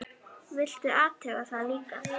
Viltu athuga það líka!